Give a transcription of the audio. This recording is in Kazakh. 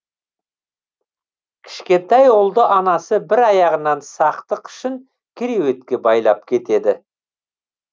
кішкентай ұлды анасы бір аяғынан сақтық үшін кереуетке байлап кетеді